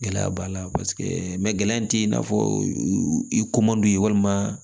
Gɛlɛya b'a la paseke mɛ gɛlɛya ti i n'a fɔ i komadu don ye walima